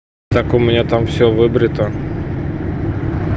как у меня там все выбрито